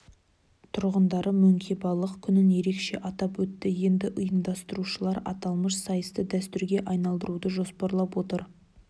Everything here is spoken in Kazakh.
тұрғындары мөңке балық күнін ерекше атап өтті енді ұйымдастырушылар аталмыш сайысты дәстүрге айналдыруды жоспарлап отыр